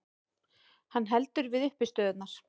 Hann heldur við uppistöðurnar.